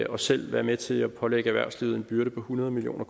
os selv være med til altså at pålægge erhvervslivet en byrde på hundrede million